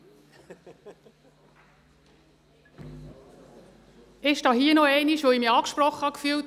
Ich stehe hier noch einmal, weil ich mich angesprochen fühle.